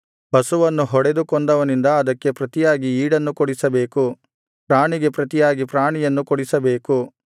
ಪಶುವನ್ನು ಹೊಡೆದು ಕೊಂದವನಿಂದ ಅದಕ್ಕೆ ಪ್ರತಿಯಾಗಿ ಈಡನ್ನು ಕೊಡಿಸಬೇಕು ಪ್ರಾಣಿಗೆ ಪ್ರತಿಯಾಗಿ ಪ್ರಾಣಿಯನ್ನು ಕೊಡಿಸಬೇಕು